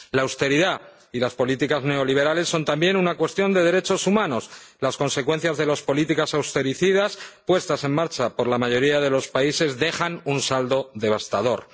La austeridad y las políticas neoliberales son también una cuestión de derechos humanos las consecuencias de las políticas austericidas puestas en marcha por la mayoría de los países dejan un saldo devastador.